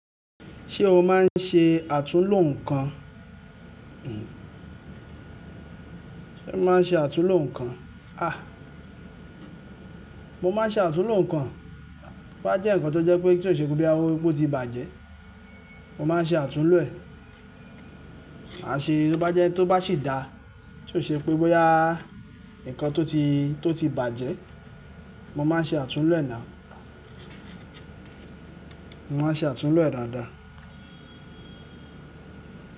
Ṣé o máa ń ṣe àtúnlo nǹkan? Sé o máa ń ṣe àtúnlo nǹkan? A! Mo máa ń ṣe àtúnlo nǹkan. Tobá jẹ́ nǹkan tó jẹ́ pé tí ò ṣe pé bí i o tí bàjẹ́, mo máa ń ṣe àtúnlo ẹ̀. Máa ṣe to bá jẹ́ tó bá sì dá, tí ò ṣe pé bóyá nǹkan tó ti, tó ti bàjẹ́, mo máa ṣe àtúnlo ẹ̀ now Mo máa ṣe àtúnlo ẹ̀ dáadáa.